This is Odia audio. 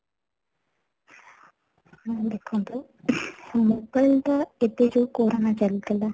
ଦେଖନ୍ତୁ , mobile ଟା ଏବେ ଯୋଉ corona ଚାଲି ଥିଲା